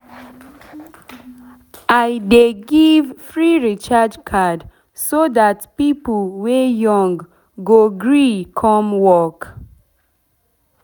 i dey give free recharge card so dat pipo wey young go gree come work